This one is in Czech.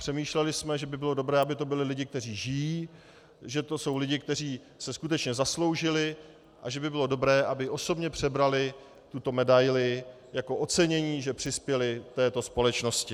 Přemýšleli jsme, že by bylo dobré, aby to byli lidé, kteří žijí, že to jsou lidé, kteří se skutečně zasloužili, a že by bylo dobré, aby osobně převzali tuto medaili jako ocenění, že přispěli této společnosti.